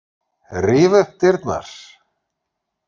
Ríf upp dyrnar.